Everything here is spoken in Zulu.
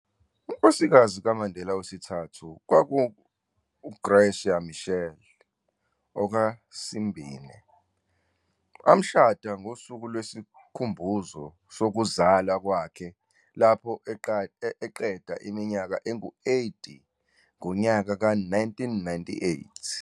UNkosikazi kaMandela wesithathu, kwakungu-Graça Machel, "oka" Simbine, amshada ngosuku lwesikhumbuzo sokuzalwa kwakhe lapho eqeda iminyaka engu 80 ngonyaka ka 1998.